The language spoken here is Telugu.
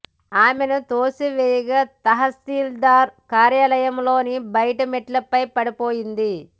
ఆమెను తోసి వేయగా తహసీల్దార్ కార్యాలయంలోని బయటి మెట్లపై పడిపోయింది